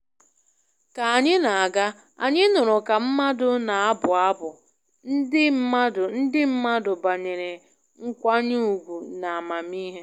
Ka anyị na-aga, anyị nụrụ ka mmadụ na-abụ abụ ndị mmadụ ndị mmadụ banyere nkwanye ùgwù na amamihe